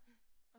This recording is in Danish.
Ja